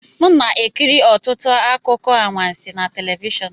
M na-ekiri ọtụtụ akụkọ anwansi na telivishọn